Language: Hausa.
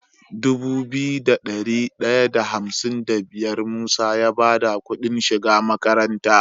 Dubu biyu da dari daya da hamsin da biyar musa ya bada Ƙudin shiga makaranta